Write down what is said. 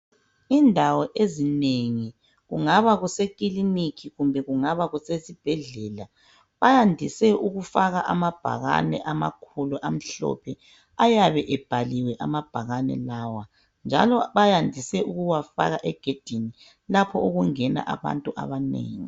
Indawo ezinengi, kungaba kusekiliniki kumbe kungabasesibhedllela, bayandise ukufaka amabhakane amakhulu amhlophe ayabe ebhaliwe amabhakane lawa njalo bayandise ukuwafaka egedini lapho okungena abantu abanengi